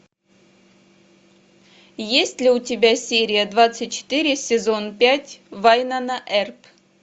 есть ли у тебя серия двадцать четыре сезон пять вайнона эрп